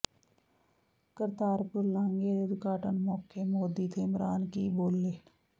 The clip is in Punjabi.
ਕਰਤਾਰਪੁਰ ਲਾਂਘੇ ਦੇ ਉਦਘਾਟਨ ਮੌਕੇ ਮੋਦੀ ਤੇ ਇਮਰਾਨ ਕੀ ਬੋਲੇ